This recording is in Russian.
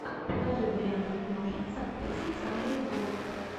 покажи варианты киношек с актрисой сандрой буллок